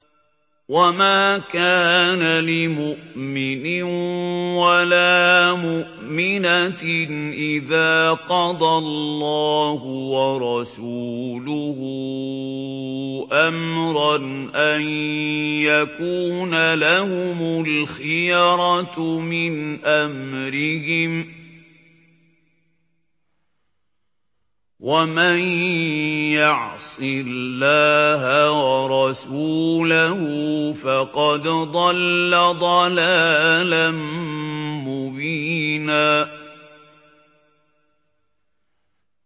وَمَا كَانَ لِمُؤْمِنٍ وَلَا مُؤْمِنَةٍ إِذَا قَضَى اللَّهُ وَرَسُولُهُ أَمْرًا أَن يَكُونَ لَهُمُ الْخِيَرَةُ مِنْ أَمْرِهِمْ ۗ وَمَن يَعْصِ اللَّهَ وَرَسُولَهُ فَقَدْ ضَلَّ ضَلَالًا مُّبِينًا